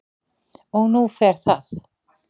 Og nú fer það